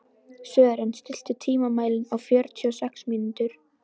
Sören, stilltu tímamælinn á fjörutíu og sex mínútur.